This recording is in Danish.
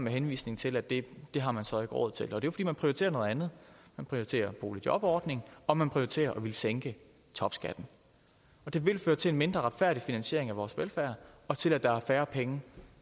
henvisning til at det har man så ikke råd til fordi man prioriterer noget andet man prioriterer boligjobordning og man prioriterer at ville sænke topskatten det vil føre til en mindre retfærdig finansiering af vores velfærd og til at der er færre penge